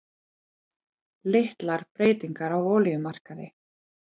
Litlar breytingar á olíumarkaði